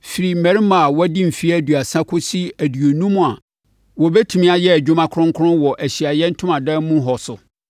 firi mmarima a wɔadi mfeɛ aduasa kɔsi aduonum a wɔbɛtumi ayɛ adwuma kronkron wɔ Ahyiaeɛ Ntomadan mu hɔ so.